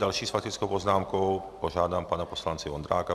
Další s faktickou poznámkou požádám pana poslance Vondráka.